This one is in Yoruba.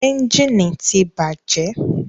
Ẹ́njìnì ti bàjẹ́.